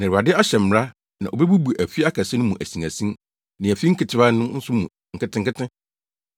Na Awurade ahyɛ mmara na obebubu afi akɛse no mu asinasin ne afi nketewa no nso mu nketenkete.